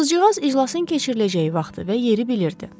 Qızcığaz iclasın keçiriləcəyi vaxtı və yeri bilirdi.